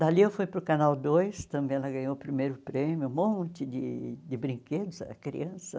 Dali eu fui para o Canal dois, também ela ganhou o primeiro prêmio, um monte de de brinquedos, era criança.